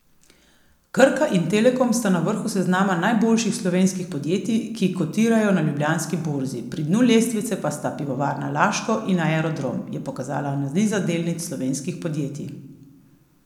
Krka in Telekom sta na vrhu seznama najboljših slovenskih podjetij, ki kotirajo na Ljubljanski borzi, pri dnu lestvice pa sta Pivovarna Laško in Aerodrom, je pokazala analiza delnic slovenskih podjetij.